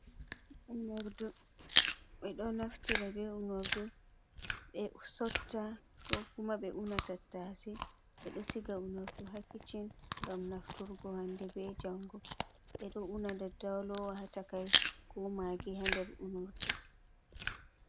Unordu ɓeɗo naftirta ɓe unordu ɓe sotta ko kuma ɓe una tattase, ɓeɗo siga unardu ha kicchin ngam nafturgo hande be jango, ɓeɗo una dadda lowa ha takai ko magi ha nder unardu.